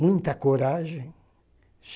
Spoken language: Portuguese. Muita coragem.